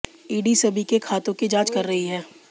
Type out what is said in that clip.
ED सभी के खातों की जांच कर रही है